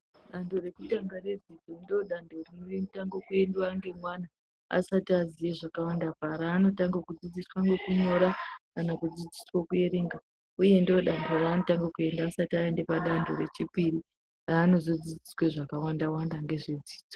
Dando rekutanga redzidzo ndiri dando rinotanga kuendwa nemwana asati aziye zvakawanda , raanotange kudzidziswa ngokunyora kana kudzidziswe kuerenga unye ndodando raanotanga asati aenda padando rechipiri raonozodzidziswe zvakawanda Wanda nezve dzidzo.